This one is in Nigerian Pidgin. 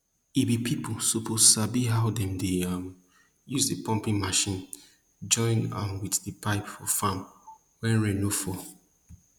ebi pipo suppose sabi how dem dey um use di pumping mechine join am wit di pipe for farm wen rain no fall